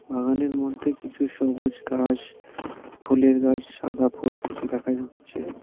বাগানের মধ্যে কিছু সবুজ ঘাস ফুলের গাছ সাদা ফুল কিছু দেখা যাচ্ছে .